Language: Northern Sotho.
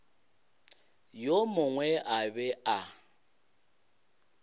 yo mongwe a be a